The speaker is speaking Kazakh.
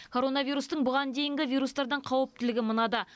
коронавирустың бұған дейінгі вирустардан қауіптілігі мынада